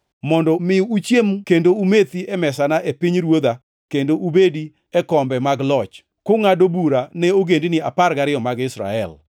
mondo mi uchiem kendo umethi e mesana e pinyruodha kendo ubedi e kombe mag loch, kungʼado bura ne ogendini apar gariyo mag Israel.